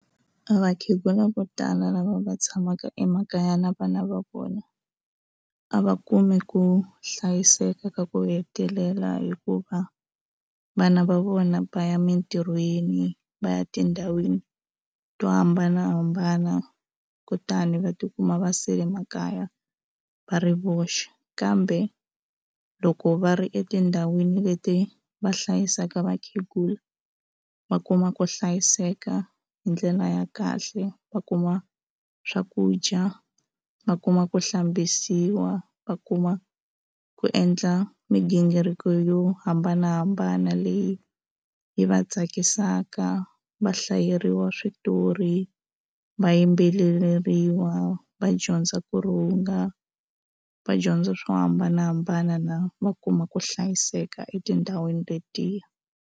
A vakhegula vo tala lava va tshamaka emakaya na vana va vona a va kumi ku hlayiseka ka ku hetelela hikuva vana va vona va ya emitirhweni va ya tindhawini to hambanahambana kutani va tikuma va sele makaya va ri voxe kambe loko va ri etindhawini leti va hlayisaka vakhegula va kuma ku hlayiseka hi ndlela ya kahle va kuma swakudya va kuma ku hlambisiwa va kuma ku endla migingiriko yo hambanahambana leyi yi va tsakisaka va hlayeriwa switori va yimbeleriwa va dyondza ku ri wu nga vadyondza swo hambanahambana na hambi va kuma ku hlayiseka etindhawini letiya.